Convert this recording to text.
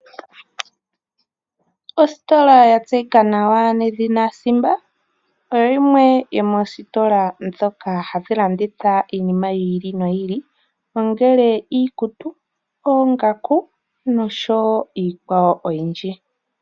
Ositola ya tseyika nawa nedhina Simba, oyo yimwe yomoositola ndhoka hadhi landitha iinima yi ili noyi ili, ongele iikutu, oongaku niikwawo oyindji.